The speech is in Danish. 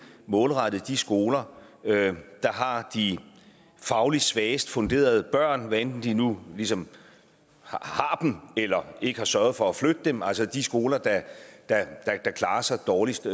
målrettet de skoler der har de fagligt svagest funderede børn hvad enten de nu ligesom har dem eller ikke bare har sørget for at flytte dem altså de skoler der klarer sig dårligst